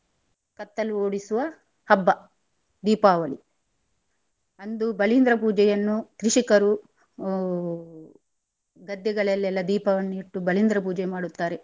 ಕತ್ತಲು ಓಡಿಸುವ ಹಬ್ಬ ದೀಪಾವಳಿ ಅಂದು ಬಲಿಂದ್ರ ಪೂಜೆ ಅನ್ನು ಕೃಷಿಕರು ಹೊ ಗದ್ದೆಗಳಲ್ಲೆಲ್ಲಾ ದೀಪವನ್ನು ಇಟ್ಟು ಬಲಿಂದ್ರ ಪೂಜೆ ಮಾಡುತ್ತಾರೆ.